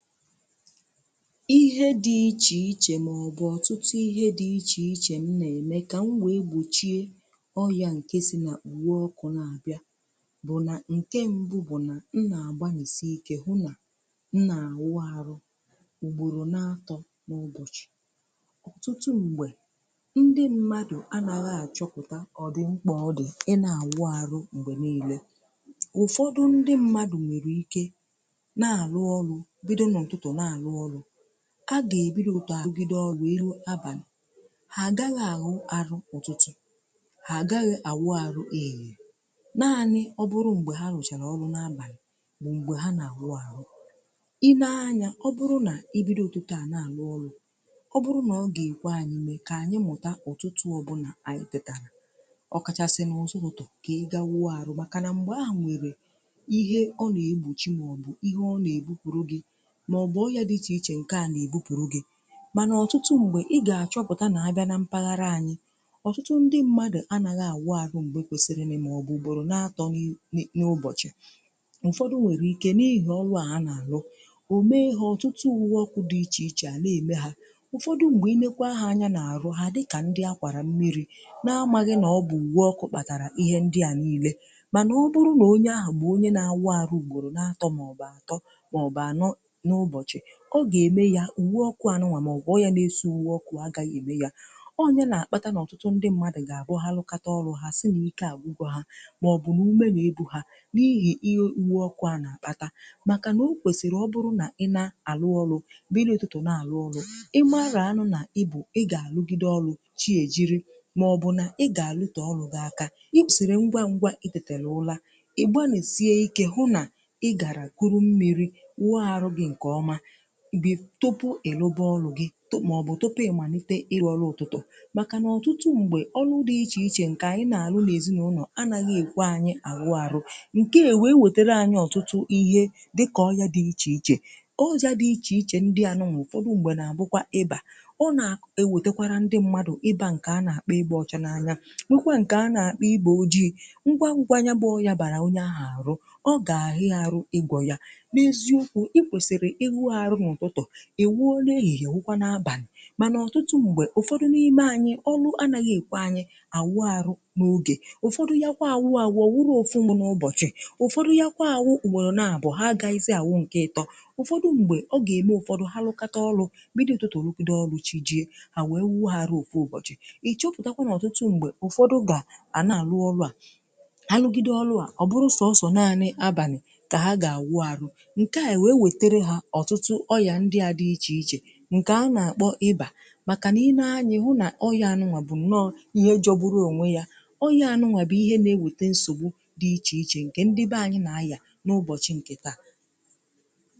Ụzọ dị iche iche m na-esi egbochi ọrịa na-esi na uwe ọkụ pụta. Nke mbụ bụ na, m na-agbanisi ike hụ na m na-awụ ọrụ mgbe ogo anyanwụ dị mma, ya bụ mgbe anwụ na-acha, karịsịa n'ụtụtụ, tupu anyanwụ abanye ike. Ọtụtụ mgbe, ndị mmadụ na-achọghị ịrụ ọrụ n’oge kwesịrị ekwesị. Ọ dị mkpa ịrụ ọrụ n’oge kwesịrị ekwesị, ka ọ ghara imetụta ahụike. Ụfọdụ ndị mmadụ nwere ike ịmalite ịrụ ọrụ n’abalị, ma ha agaghị enwe ike ịrụ ọrụ n’ụtụtụ. Ma ọ bụrụ na ha rụchaa ọrụ n’abalị, mgbe ahụ ka ha na-atụgharị n’ụtụtụ, wee hụ na ike adịghị ha. Ọ bụrụ na ibido uto, à ga-eji oge ọrụ arụ ya? Ọ bụrụ na ọ ga-ekwe, ka anyị mụta ịrụ ọrụ n’oge kachasị mma, ya bụ ụtụtụ, n’ihi na mgbe ahụ, enweghị ihe na-egbochi maọbụ na-echichapụ gị ike. N'ọtụtụ mpaghara anyị, ị ga-achọpụta na ọtụtụ ndị mmadụ anaghị arụ ọrụ mgbe ọ dị mkpa, kama ha na-eme ya mgbe ogo anyanwụ siri ike. Ụfọdụ nwere ike ịkpọ ya ọrụ, ma ọ bụ ihe ha na-eme kwa ụbọchị, ma ọ bụ ọbụna ọrụ ọkụ na-emekarị ha amaghị na ọ bụ iwe ọkụ kpatara nsogbu ahụ ha na-enweta. Mana, ọ bụrụ na onye ahụ bụ onye na-awụ arụ ugboro ugboro n’atọ̀, ya bụ kwa ụbọchị, ọ ga-eme ya na uwe ọkụ ahụ ga-emetụta ya. Ọ bụrụkwa na uwe ọkụ ahụ adịghị mma, maọbụ ọ na-esi ike ọkụ, ọ gaghị ezu ike. N’ihi nke a, ọtụtụ ndị mmadụ, mgbe ha rụchara ọrụ ha, ha na-ekwu na ike gwụrụ ha, maọbụ na ume na-apụ ha, n’ihi na uwe ọkụ ha tinyere emeghị ọrụ ya nke ọma. Ihe a na-akpata ihe ize ndụ a. Ọ bụrụ na ị bụ onye na-arụ ọrụ elu maọbụ na-arụ ọrụ n’ubi, ị kwesịrị ịmata na ọ dị mkpa ka ị ghara ịnọ n’okpomọkụ ogologo oge, ka i wee nwee ike ịlụgide ọrụ gị n’ụtụtụ, ma ọ bụ ịlaghachi n’ụlọ ka oge eteta. Ị ga-agbasi ike hụ na ị gara kpọrọ mmiri, sachapụ ahụ, were ezumike. I wezụpụta onwe gị n’ọgwụgwụ ehihie, mgbe anyanwụ dị ike, ọ ga-enyere gị aka ịtọọpụ, iloba, ma ọ bụ imegharịa ọrụ gị n’ụtụtụ echi ya. N’ihi na ọtụtụ n’ime ọrụ dị iche iche anyị na-arụ n’ezinaụlọ, anaghị enye ohere maka izu ike zuru oke. Ọtụtụ ihe dị ka: ọgwụ dị iche iche, ojà dị iche iche, na ihe ndị mmadụ na-ericha kwa ụbọchị, na-ebute nsogbu dị iche iche. Ụfọdụ ihe ndị a na-akpọ ịbà ọrịa a na-enweta site na arụsi ike na oku na-abịa n’ụzọ dị iche iche. Ọ na-eme ka mmadụ na-agwụ ike ngwa ngwa, ma ọ na-ewetakwa ọrịa anụnwà, nke na-abụkarị nsonaazụ iwe ọkụ. Ọtụtụ mgbe, ụfọdụ n’ime anyị anaghị arụ ọrụ n’oge. Ụfọdụ na-awụ ọrụ naanị n’abalị, ma ha agaghị arụ ọrụ n’ụtụtụ. Ọ bụrụ na ọ dị otú ahụ, ha agaghị arụ ọrụ ahụ nke ọma n’abalị, n’ihi na ike gwụrụ ha. Ụfọdụ, mgbe ihe dị otú ahụ mere, ha gaghịzi arụ ọrụ dị mkpa, ma ọ bụrụ naanị na abụ mberede maọbụ ọrịa emetụtawo ha. Ọrịa a na-akpọ ịbà, na ọrịa anụnwà, bụ nnọọ ihe na-emebi ahụ, ma na-eweta nsogbu dị ukwuu n’obodo anyị taa.